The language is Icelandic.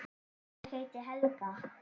Ég heiti Helga!